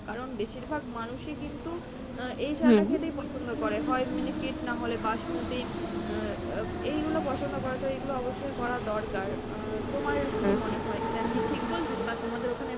কারন বেশীরভাগ মানুষই কিন্তু আহ এই চাল টা খেতেই পছন্দ করে হয় miniket নাহলে basmati আহ এইগুলো পছন্দ করে তো এইগুলো অবশ্যই করা দরকার আহ তোমার কী মনে হয়? আমি কি ঠিক বলছি? বা তোমাদের